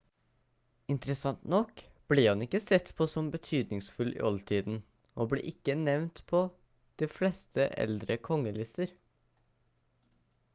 interessant nok ble han ikke sett på som betydningsfull i oldtiden og ble ikke nevnt på de fleste eldre kongelister